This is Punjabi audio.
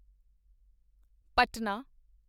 ਪਟਨਾ